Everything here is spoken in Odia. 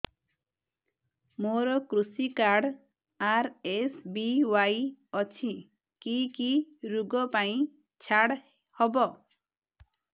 ମୋର କୃଷି କାର୍ଡ ଆର୍.ଏସ୍.ବି.ୱାଇ ଅଛି କି କି ଋଗ ପାଇଁ ଛାଡ଼ ହବ